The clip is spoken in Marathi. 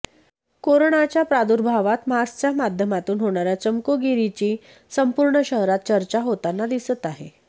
कोरोनाच्या प्रादुर्भावात मास्कच्या माध्यमातून होणाऱ्या चमकोगिरीची संपूर्ण शहरात चर्चा होताना दिसत आहे